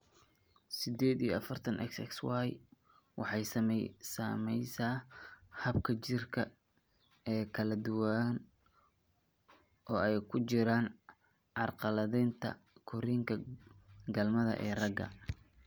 Sided iyo afaratan, XXYY waxay saamaysaa hababka jidhka ee kala duwan oo ay ku jiraan carqaladaynta korriinka galmada ee ragga.